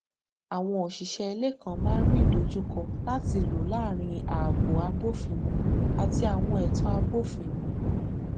àwọn òṣìṣẹ ilé kan máa n rí ìdojúkọ láti lọ láàrin ààbò abófinmu àti àwọn ẹtọ abófinmu